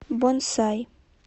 бонсай